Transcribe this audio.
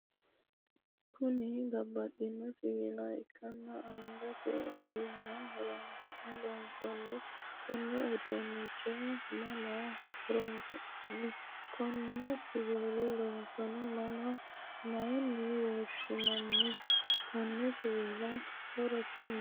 Kunni babbaxino siwiila ikanna angate ogimma horoonsi'ne loonsoonniha konne uduunnicho mama horoonsina'nni? Konne siwiila loosanno manna mayine woshinnanni? Konni siwiiliti horosi maati?